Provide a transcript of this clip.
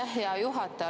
Aitäh, hea juhataja!